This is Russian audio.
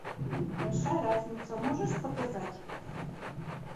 большая разница можешь показать